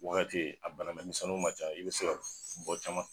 Wagati a bana minɛ misɛnnu ma ca i bi se ka bɔ caman